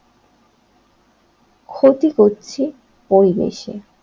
ক্ষতি করছি পরিবেশের।